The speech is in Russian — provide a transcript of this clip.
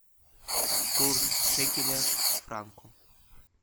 курс шекеля к франку